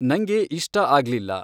ನಂಗೆ ಇಷ್ಟ ಆಗ್ಲಿಲ್ಲ